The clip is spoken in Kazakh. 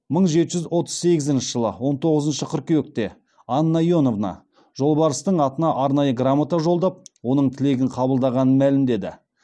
мың жеті жүз отыз сегізінші жылы он тоғызыншы қыркүйекте анна иоановна жолбарыстың атына арнайы грамота жолдап оның тілегін қабылдағанын мәлімдеді